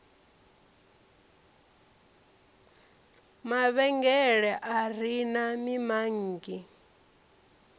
mavhengele a re na mimanngi